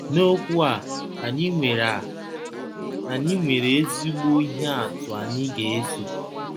N'okwu a, anyị nwere a, anyị nwere ezigbo ihe atụ anyị ga-eso.